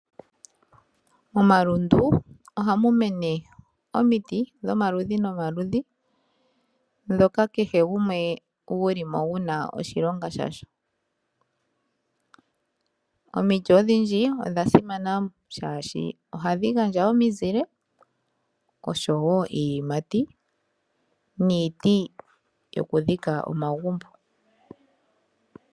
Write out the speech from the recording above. Omalundu ohaga mene omiti dhomaludhi nomaludhi, ndhoka kehe gumwe guli po guna oshilonga. Omiti odhindji odha simana oshoka ohadhi gandja omizile, osho wo iiyimati niiti yokudhika omagumbo